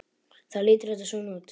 Þá lítur þetta svona út